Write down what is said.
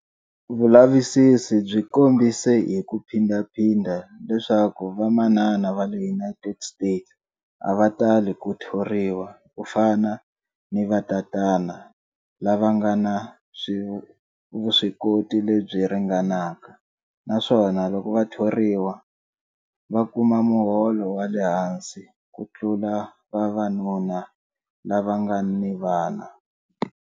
Vulavisisi byi kombise hi ku phindhaphindha leswaku vamanana va le United States a va tali ku thoriwa ku fana ni vatatana lava nga ni vuswikoti lebyi ringanaka naswona loko va thoriwa, va kuma muholo wa le hansi ku tlula vavanuna lava nga ni vana.